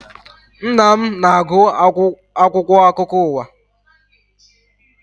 Nna m na-agụ akwụkwọ akụkọ ụwa